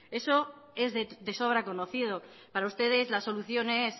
eso es de sobra conocido para ustedes la solución es